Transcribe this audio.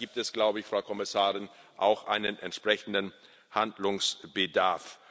Da gibt es, glaube ich, Frau Kommissarin, auch einen entsprechenden Handlungsbedarf.